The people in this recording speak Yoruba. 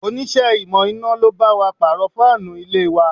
Onise ìmò iná lo bá wa pàrọ̀ fáànù ilé wa